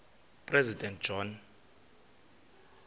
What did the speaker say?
president john